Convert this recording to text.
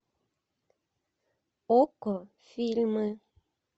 окко фильмы